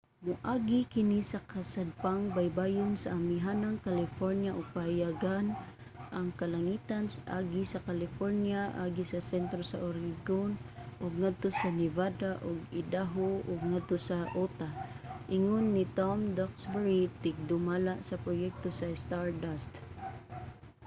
"moagi kini sa kasadpang baybayon sa amihanang california ug pahayagon ang kalangitan agi sa california agi sa sentro sa oregon ug ngadto sa nevada ug idaho ug ngadto sa utah, ingon ni tom duxbury tigdumala sa proyekto sa stardust